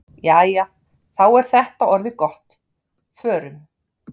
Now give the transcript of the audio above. Jæja, þá er þetta orðið gott. Förum.